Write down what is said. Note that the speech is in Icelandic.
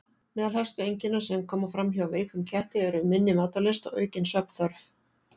Meðal helstu einkenna sem koma fram hjá veikum ketti eru minni matarlyst og aukin svefnþörf.